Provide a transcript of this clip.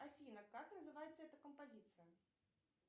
афина как называется эта композиция